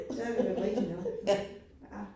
Ja, men det rigtig nok. Ja